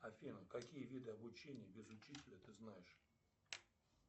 афина какие виды обучения без учителя ты знаешь